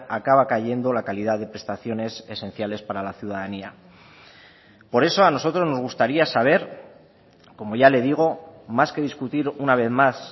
acaba cayendo la calidad de prestaciones esenciales para la ciudadanía por eso a nosotros nos gustaría saber como ya le digo más que discutir una vez más